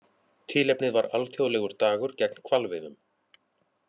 Tilefnið var alþjóðlegur dagur gegn hvalveiðum